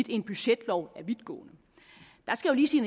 en budgetlov var vidtgående jeg skal lige sige